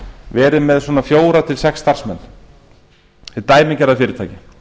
verið með svona fjögur til sex starfsmenn hið dæmigerða fyrirtæki